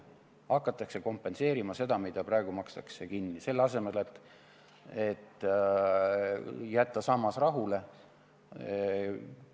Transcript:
Hakatakse kompenseerima seda, mida praegu makstakse kinni, selle asemel et jätta sammas rahule.